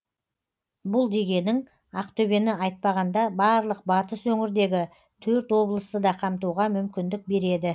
бұл дегенің ақтөбені айтпағанда барлық батыс өңірдегі төрт облысты да қамтуға мүмкіндік береді